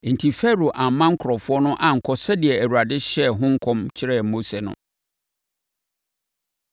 Enti, Farao amma nkurɔfoɔ no ankɔ sɛdeɛ Awurade hyɛɛ ho nkɔm kyerɛɛ Mose no.